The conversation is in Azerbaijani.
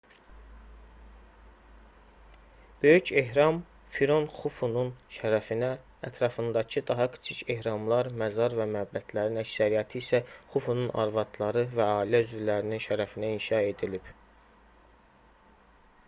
böyük ehram firon xufunun şərəfinə ətrafındakı daha kiçik ehramlar məzar və məbədlərin əksəriyyəti isə xufunun arvadları və ailə üzvlərinin şərəfinə inşa edilib